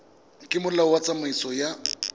ka molao wa tsamaiso ya